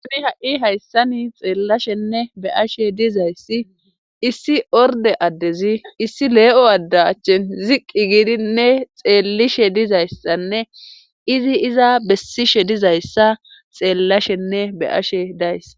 Suni ha'i hayssani xeellashenne be ashe dizayssi issi orde addezi issi lee'o addachche ziqqi giidinne xeellishe dizayssanne izi iza bessishe dizayssa xeellashenne be ashe dayss